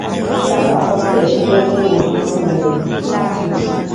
kí a kọ àkọsílẹ ìṣewẹkú ìdókòòwò èrè àti òfò